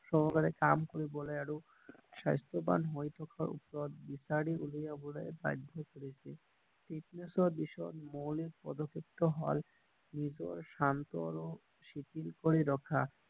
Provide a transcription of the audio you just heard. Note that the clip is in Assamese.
সহকাৰে কাম কৰিবলৈ আৰু স্বাস্থ্য বান হৈ থকা ওপৰত বিচাৰি উলিয়াবলৈ বাধ্য কৰিছিল ফিত্নেচৰ বিষয়ে মৌলিক পদ্যক্ষেপটো হল নিজৰ শান্ত আৰু শিথিল কৰি ৰখা